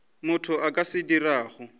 motho a ka se dirago